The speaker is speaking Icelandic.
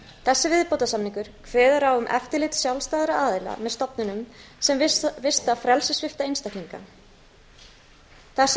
þessi viðbótarsamningur kveður á um eftirlit sjálfstæðra aðila með stofnunum sem vista frelsissvipta einstaklinga þessum